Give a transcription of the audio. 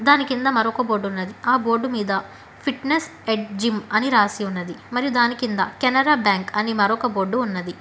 దాని కింద మరొక బోర్డు ఉన్నది ఆ బోర్డు మీద ఫిట్నెస్ ఎడ్జ్ జిమ్ అని రాసి ఉన్నది మరియు దాని కింద కెనరా బ్యాంక్ అని మరొక బోర్డు ఉన్నది.